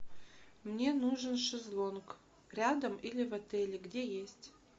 мне нужен шезлонг рядом или в отеле где есть